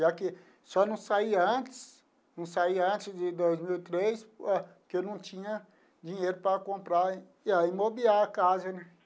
Já que só não saía antes, não saía antes de dois mil e três, porque eu não tinha dinheiro para comprar e mobiliar a casa, né?